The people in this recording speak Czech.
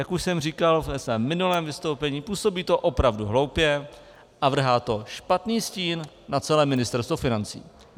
Jak už jsem říkal ve svém minulém vystoupení, působí to opravdu hloupě a vrhá to špatný stín na celé Ministerstvo financí.